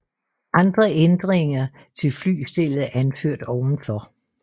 Andre ændringer til flystellet er anført ovenfor